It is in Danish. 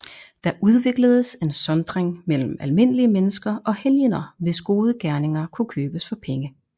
Der udvikledes en sondring mellem almindelige mennesker og helgener hvis gode gerninger kunne købes for penge